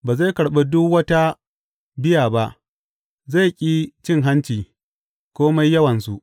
Ba zai karɓi duk wata biya ba; zai ƙi cin hanci, kome yawansu.